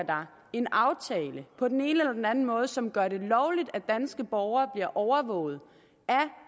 en aftale på den ene eller den anden måde som gør det lovligt at danske borgere bliver overvåget af